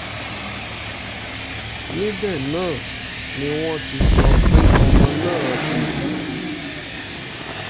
níbẹ̀ náà ni wọ́n ti sọ pé ọmọ náà ti kú